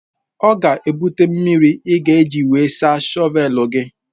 Ọ ga-ebute mmiri ị ga-eji wee saa shọvelụ gị.